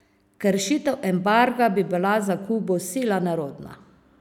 Kršitev embarga bi bila za Kubo sila nerodna.